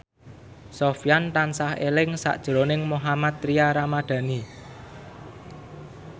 Sofyan tansah eling sakjroning Mohammad Tria Ramadhani